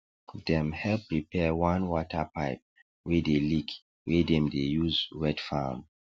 dem help repair one water pipe wey dey leak wey dem dey use wet farm